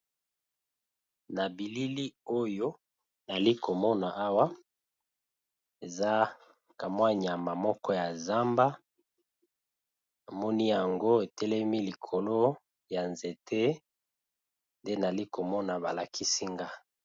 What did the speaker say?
Na bilili oyo nazali komona awa eza nyama ya zamba namoni etelemi likolo ya nzete nde namoni balakisi nga.